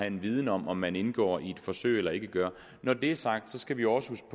en viden om om man indgår i et forsøg eller ikke gør når det er sagt skal vi også